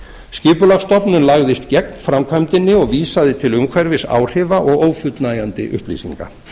skipulagsstofnun lagðist gegn framkvæmdinni og vísaði til umhverfisáhrifa og ófullnægjandi upplýsinga